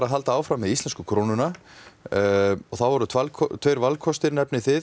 að halda áfram með íslensku krónuna þá eru tveir valkostir